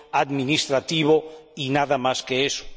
administrativo y nada más que eso.